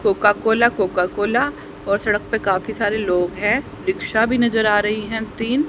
Coca Cola Coca Cola और सड़क पे काफी सारे लोग हैं रिक्शा भी नजर आ रही है तीन।--